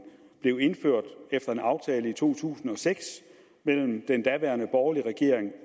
blev indført efter en aftale i to tusind og seks mellem den daværende borgerlige regering